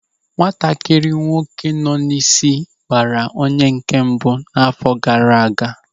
Nwatakịrị nwoke nọ n'isi gbara onye nke mbụ n'àfọ́ gaara aga.